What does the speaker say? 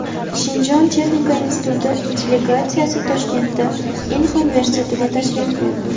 Shinjon Texnika instituti delegatsiyasi Toshkentdagi Inha universitetiga tashrif buyurdi.